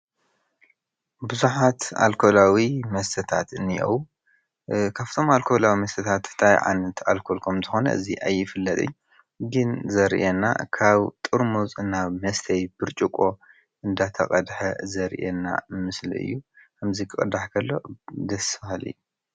ቡዙሓት ኣልኮላዊ መስተታት እኒአዉ:: ካብቶም ኣልኮላዊ መስተታት ታይ ዓይነት ኣልኮል ከም ዝኾነ እዚ ኣይፍለጥን ግን ዘርእየና ካብ ጥርሙዝ ናብ መስተዪ ብርጭቆ እንዳተቐደሐ ዘርእየና ምስሊ እዩ። እዚ ክቅዳሕ ከሎ ደስ በሃሊ::